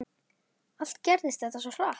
Allt gerðist þetta svo hratt.